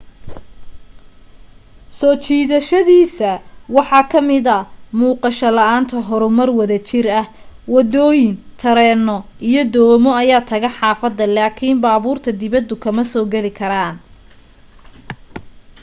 soo jidashadiisa waxaa kamida muuqasho la'aanta horumar wada jir wadooyin tareeno iyo doomo ayaa taga xaafada laakin baaburta dibada kama soo geli karaan